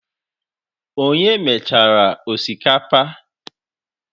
Onye mechara osikapa?